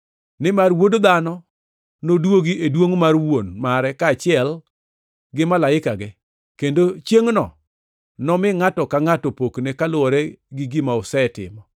Nimar Wuod Dhano nodwogi e duongʼ mar Wuon mare kaachiel gi malaikege, kendo chiengʼno enomi ngʼato ka ngʼato pokne kaluwore gi gima osetimo.